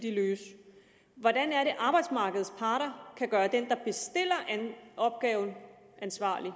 de løse hvordan er det at arbejdsmarkedets parter kan gøre den der bestiller opgaven ansvarlig